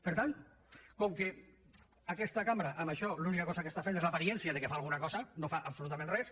per tant com que aquesta cambra amb això l’única cosa que fa és l’aparença que fa alguna cosa no fa absolutament res